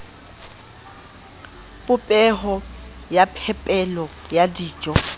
popeho ya phepelo ya dijo